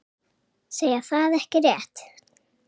Segja það ekki rétt.